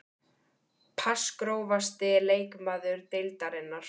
Pass Grófasti leikmaður deildarinnar?